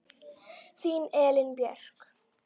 Þín Elín Björk.